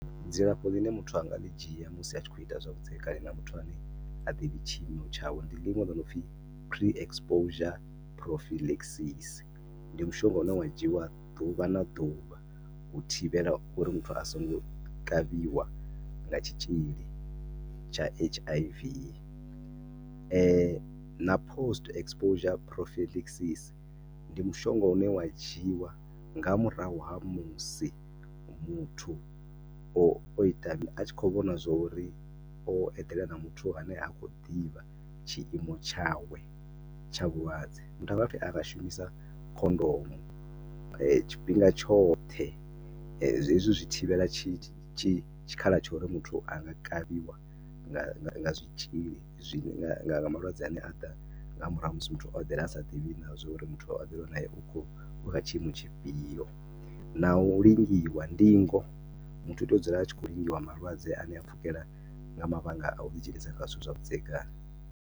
Dzilafho ḽine muthu a nga ḽi dzhia musi a tshi khou ita zwavhudzekani na muthu a ne ha ḓivhi tshiimo tshawe. Ndi ḽiṅwe ḽo no pfhi Pre-exposure prophylaxis ndi mushonga u ne wa dzhiiwa ḓuvha na ḓuvha u thivhela uri muthu a songo kavhiwa nga tshitzhili tsha H_I_V. Na Post exposure prophylaxis ndi mushonga une wa dzhiiwa nga murahu ha musi muthu o o ita ni, a tshi khou vhona zwo ri o eḓela na muthu ane ha khou ḓivha tshiimo tshawe tsha vhulwadze. Muthu a nga dovha futhi a shumisa khondomo tshifhinga tshoṱhe. Hezwi zwi thivhela tshi, tshitzhili tshikhala tsha uri muthu a nga kavhiwa nga, nga zwitzhili, nga malwadze a ne a ḓa nga murahu ha musi muthu o eḓela a sa ḓivhi na zwo ri muthu o eḓela nae u kho, u kha tshiimo tshifhio. Na u lingiwa, ndingo, muthu u tea u dzula a tshi khou lingiwa malwadze a ne a pfhukhela nga mavhanga a u ḓidzhenisa kha zwithu zwavhudzekani.